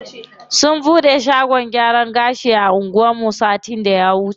Sun bude shagon gyaran gashi a anguwan mu satin da ya wuce.